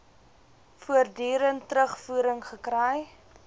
voortdurend terugvoering gekry